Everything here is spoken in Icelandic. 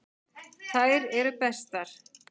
Halli Palli.